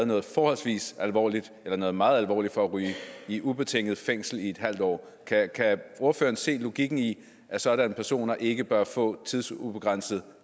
noget forholdsvis alvorligt eller noget meget alvorligt for at ryge i ubetinget fængsel i en halv år kan ordføreren se logikken i at sådanne personer ikke bør få tidsubegrænset